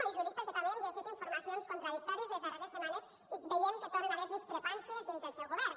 i els ho dic perquè també hem llegit informacions contradictòries les darreres setmanes i veiem que hi tornen a haver discrepàncies dins del seu govern